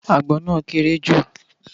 Àgbọn náà kééré jù